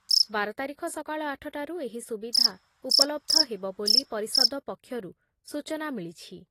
ବାର ତାରିଖ ସକାଳ ଆଠଟାରୁ ଏହି ସୁବିଧା ଉପଲବ୍ଧ ହେବ ବୋଲି ପରିଷଦ ପକ୍ଷରୁ ସୂଚନା ମିଳିଛି ।